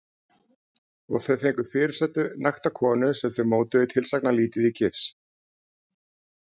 Og þau fengu fyrirsætu- nakta konu sem þau mótuðu tilsagnarlítið í gifs.